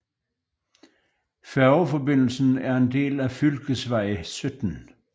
Færgeforbindelsen er en del af fylkesvej 17